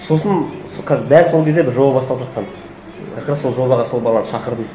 сосын сол дәл сол кезде бір жоба басталып жатқан как раз сол жобаға сол баланы шақырдым